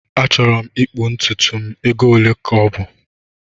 Achọrọ m ịkpụ ntutu m, ego ole ọ bụ?